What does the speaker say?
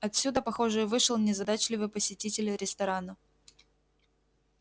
отсюда похоже и вышел незадачливый посетитель ресторана